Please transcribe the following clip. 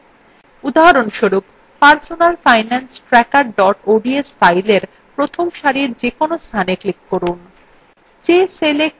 উদাহরণস্বরূপ personal finance tracker ods fileএ প্রথম সারির যেকোনো স্থানে click করুন